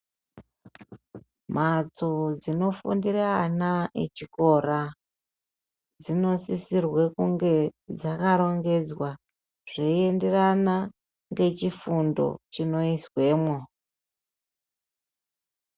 Mhatso dzinofundire ana echikora, dzinosisirwe kunge dzakarongedzwa ,zveienderana ngechifundo chinoizwemwo.